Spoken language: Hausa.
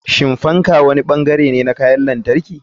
Shin fan wani bangare ne na kayan lantarki?